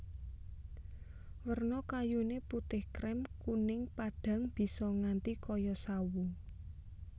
Werna kayuné putih krèm kuning padhang bisa nganti kaya sawo